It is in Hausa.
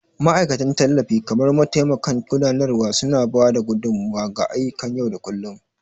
Ma'aikatan tallafi kamar mataimakan gudanarwa, suna ba da gudummawa ga ayyukan yau da kullun.